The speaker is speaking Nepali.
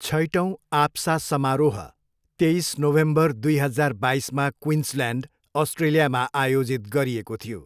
छैटौँ आप्सा समारोह तेइस नोभेम्बर दुई हजार बाइसमा क्विन्सल्यान्ड, अस्ट्रेलियामा आयोजित गरिएको थियो।